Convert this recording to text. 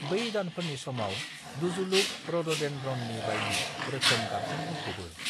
बै दानफोरनि समाव डज़ुलुक रड'डेन्ड्रननि बायदि रोखोम गाबजों बुंफ'बो।